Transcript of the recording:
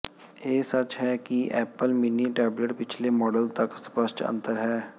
ਇਹ ਸੱਚ ਹੈ ਕਿ ਐਪਲ ਮਿੰਨੀ ਟੈਬਲੇਟ ਪਿਛਲੇ ਮਾਡਲ ਤੱਕ ਸਪੱਸ਼ਟ ਅੰਤਰ ਹੈ